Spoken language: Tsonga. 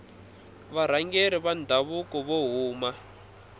varhangeri va ndhavuko vo huma